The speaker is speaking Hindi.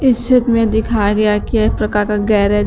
इस चित्र में दिखाया गया कि एक प्रकार का गैरेज --